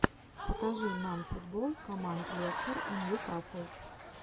покажи нам футбол команд лестер и ньюкасл